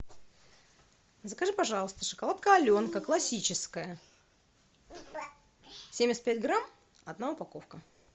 закажи пожалуйста шоколадка аленка классическая семьдесят пять грамм одна упаковка